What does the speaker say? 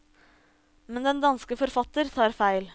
Men den danske forfatter tar feil.